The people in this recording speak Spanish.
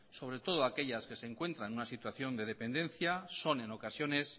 sobre todo aquellas que se encuentran en una situación de dependencia son en ocasiones